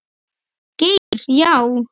Geir Já.